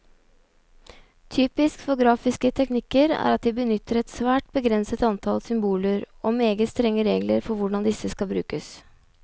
Typisk for grafiske teknikker er at de benytter et svært begrenset antall symboler, og meget strenge regler for hvordan disse skal brukes.